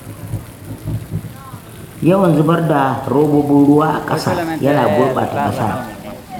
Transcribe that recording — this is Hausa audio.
Yawan zubar da robobin ruwa a ƙasa yana gurɓata ƙasa